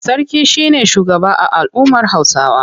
Sarki shi ne shugaba a al'ummar Hausawa.